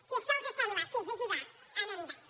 si això els sembla que és ajudar anem dats